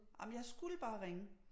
Ej men jeg skulle bare ringe